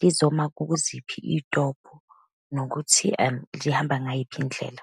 lizoma kuziphi iy'tobhi, nokuthi lihamba ngayiphi indlela.